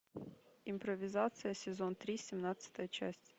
импровизация сезон три семнадцатая часть